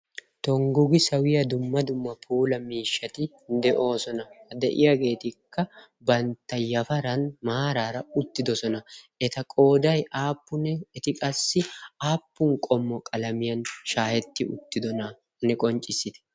tonggu gi sawiya dumma dumma poola miishshati de'oosona. de'iyaageetikka bantta yafaran maaraara uttidosona. eta qoodai aappunne eti qassi aappun qommo qalamiyan shaahetti uttidonaanne qonccissiidi?